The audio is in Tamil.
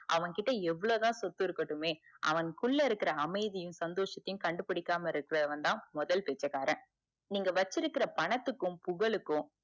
அவன் கிட்ட எவ்ளோதான் சொத்து இருக்கட்டுமே அவன் குள்ள இருக்குற அமைதியும் சந்தோஷத்தையும் கண்டுபுடிக்காம இருக்குறவந்தான் முதல் பிச்சைக்காரன் நீங்க வச்சிருக்குற பணத்துக்கும் புகளுக்கும